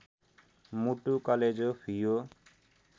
मुटु कलेजो फियो